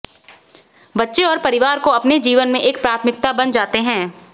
बच्चे और परिवार को अपने जीवन में एक प्राथमिकता बन जाते हैं